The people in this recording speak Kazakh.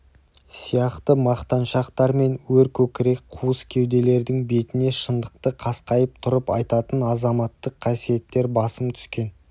сияқты мақтаншақтар мен өркөкірек қуыс кеуделердің бетіне шындықты қасқайып тұрып айтатын азаматтық қасиеттер басым түскен